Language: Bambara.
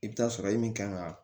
I bɛ taa sɔrɔ e min kan ka